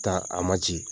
Taa a ma ci